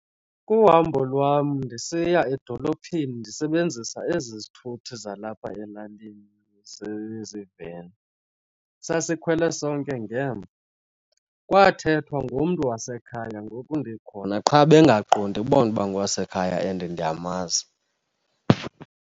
Kuhambo lwam ndisiya edolophini ndisebenzisa ezi zithuthi zalapha elalini ziziiveni. Sasikwhele sonke ngemva, kwathethwa ngomntu wasekhaya ngoku ndikhona qha bengaqondi bona uba ngokwasekhaya and ndiyamazi.